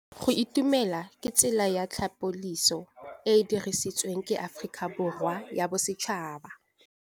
Go itumela ke tsela ya tlhapolisô e e dirisitsweng ke Aforika Borwa ya Bosetšhaba.